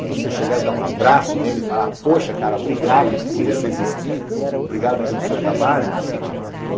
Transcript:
E você chegar e dar um abraço nele e falar, poxa cara, obrigado por você existir, obrigado pelo seu trabalho.